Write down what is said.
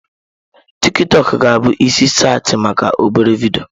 TikiTokụ ga-abụ isi saịtị maka obere vidio.